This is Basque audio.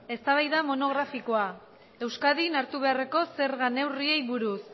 eztabaida monografikoa euskadin hartu beharreko zerga neurriei buruz